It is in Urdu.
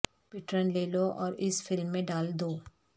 پیٹرن لے لو اور اس فلم میں ڈال دو